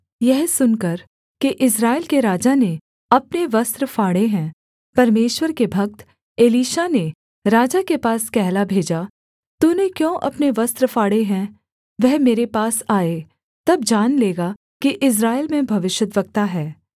यह सुनकर कि इस्राएल के राजा ने अपने वस्त्र फाड़े हैं परमेश्वर के भक्त एलीशा ने राजा के पास कहला भेजा तूने क्यों अपने वस्त्र फाड़े हैं वह मेरे पास आए तब जान लेगा कि इस्राएल में भविष्यद्वक्ता है